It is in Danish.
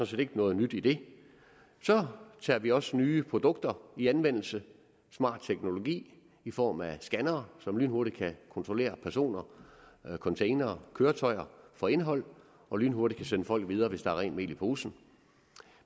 set ikke noget nyt i det så tager vi også nye produkter i anvendelse smart teknologi i form af scannere som lynhurtigt kan kontrollere personer containere og køretøjer for indhold og lynhurtigt kan sende folk videre hvis der er rent mel i posen